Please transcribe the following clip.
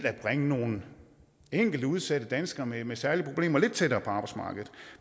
bringe nogle enkelte udsatte danskere med særlige problemer lidt tættere på arbejdsmarkedet